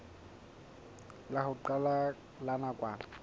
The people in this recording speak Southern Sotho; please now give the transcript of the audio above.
la ho qala la nakwana